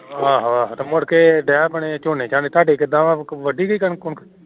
ਆਹੋ ਆਹੋ ਮੁੜਕੇ ਢੇਅ ਪੈਣਾ ਝੋਨਾ ਤੁਹਾਡੇ ਕਿਵੇਂ ਏ ਵੱਡੀ ਗਯੀ ਕਣਕ?